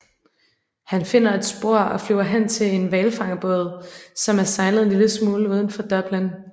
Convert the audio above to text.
Han finder et spor og flyver hen til en hvalfangerbåd som er sejlet en lille smule ud for Dublin